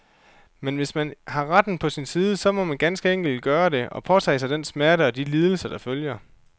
Men hvis man har retten på sin side, så må man ganske enkelt gøre det, og påtage sig den smerte og de lidelser, der følger.